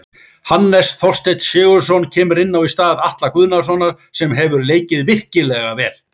Hannes Þorsteinn Sigurðsson kemur inná í stað Atla Guðnasonar sem hefur leikið virkilega vel.